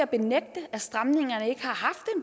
benægte at stramningerne